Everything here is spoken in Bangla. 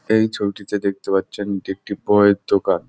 এই ছবিটিতে দেখতে পাচ্ছেন এটি একটি বইয়ের দোকান।